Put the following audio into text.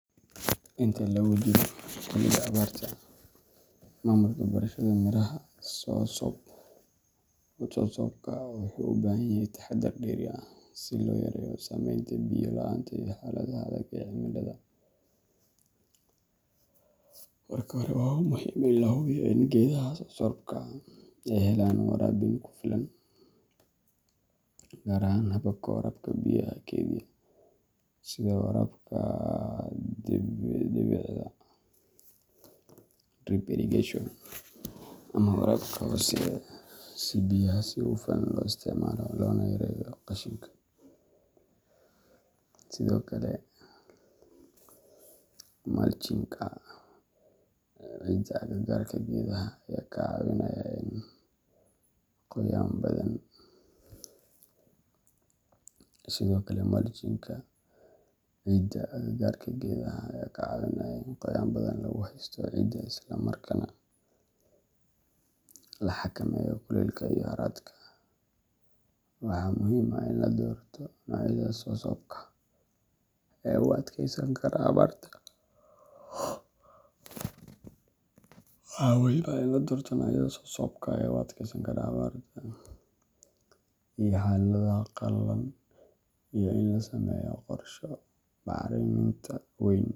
Inta lagu jiro xilliga abaarta, maamulka beerashada miraha soursopka wuxuu u baahan yahay taxaddar dheeri ah si loo yareeyo saameynta biyo la’aanta iyo xaaladaha adag ee cimilada. Marka hore, waa muhiim in la hubiyo in geedaha soursopka ay helaan waraabin ku filan, gaar ahaan hababka waraabka biyaha keydiya sida waraabka dhibicda drip irrigation ama waraabka hooseeya, si biyaha si hufan loo isticmaalo loona yareeyo qashinka. Sidoo kale, mulching-ka ciidda agagaarka geedaha ayaa ka caawinaya in qoyaan badan lagu haysto ciidda isla markaana la xakameeyo kuleylka iyo harraadka. Waxaa muhiim ah in la doorto noocyada soursopka ee u adkeysan kara abaarta iyo xaaladaha qallalan, iyo in la sameeyo qorshe bacriminta weyn.